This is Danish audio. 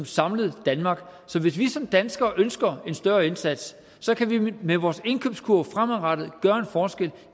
samlet danmark så hvis vi som danskere ønsker en større indsats kan vi med vores indkøbskurv fremadrettet gøre en forskel